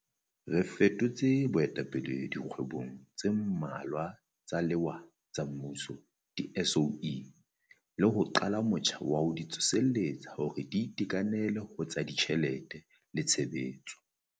Re fetotse boetapele dikgwebong tse mmalwa tsa lewa tsa mmuso, di-SOE, le ho qala motjha wa ho di tsoseletsa hore di itekanele ho tsa ditjhelete le tshebetso.